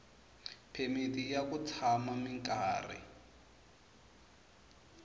phemiti ya ku tshama minkarhi